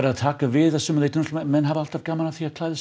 að taka við að sumu leyti náttúrulega menn hafa alltaf gaman af því að klæða sig